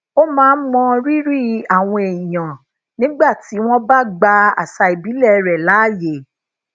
ó máa ń moriri àwọn èèyàn nígbà tí wón bá gba àṣà ìbílè rè laye